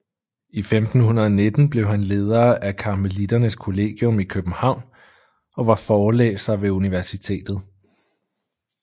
I 1519 blev han leder af karmeliternes kollegium i København og var forelæser ved universitetet